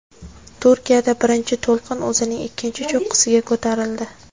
Turkiyada birinchi to‘lqin o‘zining ikkinchi cho‘qqisiga ko‘tarildi.